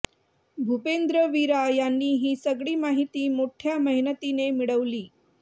भूपेंद्र वीरा यांनी ही सगळी माहिती मोठय़ा मेहनतीने मिळवली